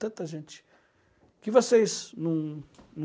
Tanta gente que vocês não não